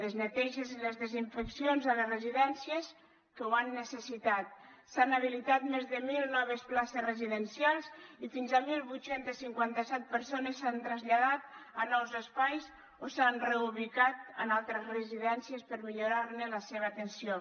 les neteges i les desinfeccions a les residències que ho han necessitat s’han habilitat més de mil noves places residencials i fins a divuit cinquanta set persones s’han traslladat a nous espais o s’han reubicat en altres residències per millorar ne la seva atenció